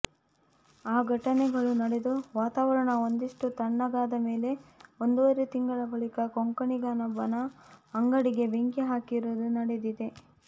ಆ ಘಟನೆಗಳು ನಡೆದು ವಾತಾವರಣ ಒಂದಿಷ್ಟು ತಣ್ಣಗಾದ ಮೇಲೆ ಒಂದೂವರೆ ತಿಂಗಳ ಬಳಿಕ ಕೊಂಕಣಿಗನೊಬ್ಬನ ಅಂಗಡಿಗೆ ಬೆಂಕಿ ಹಾಕಿರುವುದು ನಡೆದಿದೆ